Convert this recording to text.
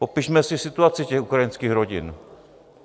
Popišme si situaci těch ukrajinských rodin.